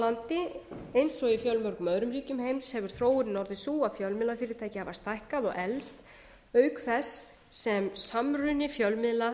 landi eins og í fjölmörgum öðrum ríkjum heims hefur þróunin orðið sú að fjölmiðlafyrirtæki hafa stækkað og eflst auk þess sem samruni fjölmiðla